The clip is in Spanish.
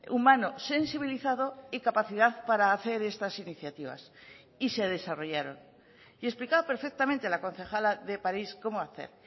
humano sensibilizado y capacidad para hacer estas iniciativas y se desarrollaron y explicaba perfectamente la concejala de parís cómo hacer